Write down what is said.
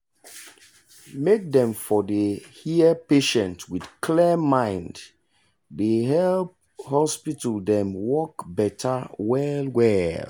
make them for dey hear patient with clear mind dey help hospital dem wok beta well well